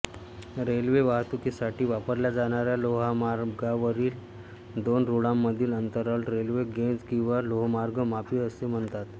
railway वाहतूकीसाठी वापरल्या जाणाऱ्या लोहमार्गावरील दोन रूळांमधील अंतराला रेल्वे गेज किंवा लोहमार्ग मापी असे म्हणतात